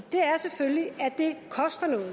at det koster noget